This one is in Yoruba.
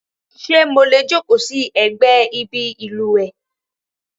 Ṣé mo lè jókòó sí ẹ̀gbẹ́ ibi ìlùwẹ̀?